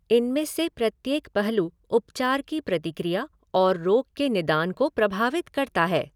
इनमें से प्रत्येक पहलू उपचार की प्रतिक्रिया और रोग के निदान को प्रभावित करता है।